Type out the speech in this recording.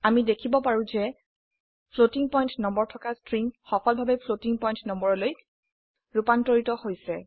আমি দেখিব পাৰো যে ফ্লোটিং পয়েন্ট নম্বৰ থকা স্ট্ৰিং সফলভাবে ফ্লোটিং পয়েন্ট নম্বৰলৈ ৰুপান্তৰিত হৈছে